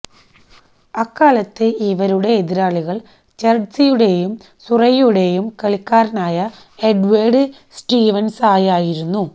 അക്കാലത്ത് ഇവരുടെ എതിരാളികൾ ചെർട്സിയുടെയും സുറൈയുടേയും കളിക്കാരനായ എഡ്വാർഡ് സ്റ്റീവൻസായിരുന്നു